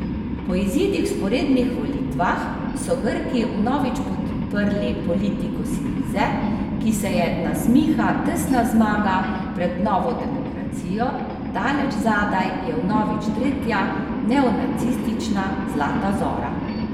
Po izidih vzporednih volitvah so Grki vnovič podprli politiko Sirize, ki se je nasmiha tesna zmaga pred Novo demokracijo, daleč zadaj je vnovič tretja neonacistična Zlata zora.